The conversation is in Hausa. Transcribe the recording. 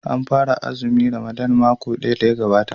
An fara azumin Ramadan makon da ya gabata.